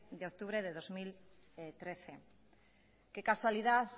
de octubre dos mil trece qué casualidad